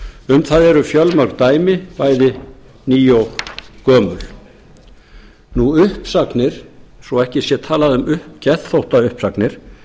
um það eru fjölmörg gömul sem ný dæmi uppsagnir svo ekki sé talað um geðþóttauppsagnir